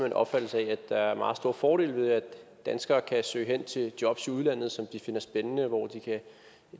en opfattelse af at der er meget store fordele ved at danskere kan søge hen til jobs i udlandet som de finder spændende hvor de kan